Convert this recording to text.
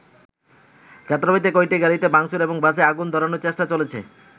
যাত্রাবাড়ীতে কয়েকটি গাড়িতে ভাংচুর এবং বাসে আগুন ধরানোর চেষ্টা চলেছে।